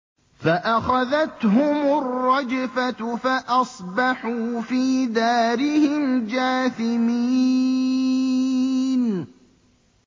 فَأَخَذَتْهُمُ الرَّجْفَةُ فَأَصْبَحُوا فِي دَارِهِمْ جَاثِمِينَ